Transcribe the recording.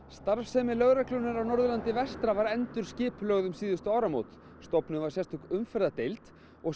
starfsemi lögreglunnar á Norðurlandi vestra var endurskipulögð um áramótin stofnuð var sérstök umferðardeild og